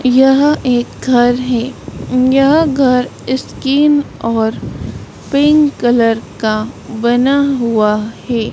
यह एक घर है यह घर स्किन और पिंक कलर का बना हुआ है।